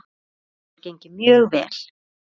Þetta hefur gengið mjög vel.